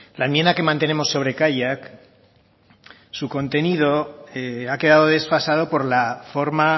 la enmienda que mantenemos sobre kaiak su contenido ha quedado desfasado por la forma